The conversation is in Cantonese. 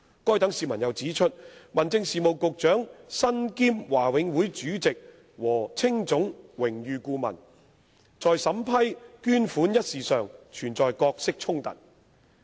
該等市民又指出，民政事務局局長身兼華永會主席和青總榮譽顧問，在審批捐款一事上存在角色衝突。